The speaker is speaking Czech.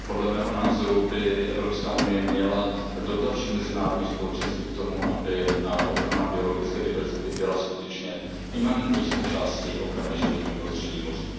Podle mého názoru by EU měla dotlačit mezinárodní společenství k tomu, aby ochrana biologické diverzity byla skutečně imanentní součástí ochrany životního prostředí moří.